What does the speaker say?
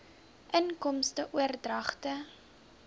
inkomste oordragte